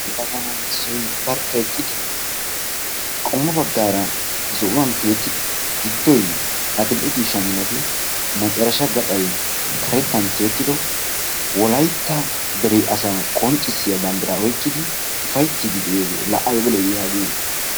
Yelaga nayi issoy barkka eqqidi qommo baggaara zo'uwan tiyeyettidi giddoy addil"e ciisha malatin macarasha gaxay karettan tiyettido Wolaytta dere asaa qonccissiya bandiraa oyiqqidi ufayitidi de'iyagee la ayiba lo'iyagee I.